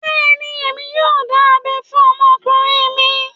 Bẹ́ẹ̀ni, èmi yóò dá abẹ́ fún ọmọkùnrin mi